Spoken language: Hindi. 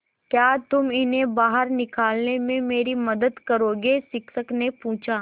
क्या तुम इन्हें बाहर निकालने में मेरी मदद करोगे शिक्षक ने पूछा